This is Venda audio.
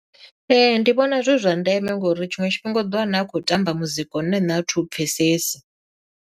Ee ndi vhona zwi zwa ndeme ngori tshiṅwe tshifhinga u ḓo wana a khou tamba muzika une nṋe a thi u pfhesesi.